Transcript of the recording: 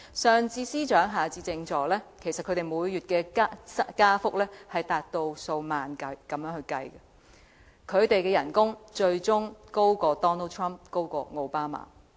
上至司長，下至政助，每月薪酬加幅以數萬元計，他們的薪酬最終高於 Donald TRUMP 及奧巴馬。